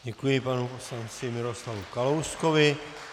Děkuji panu poslanci Miroslavu Kalouskovi.